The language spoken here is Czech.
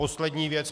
Poslední věc.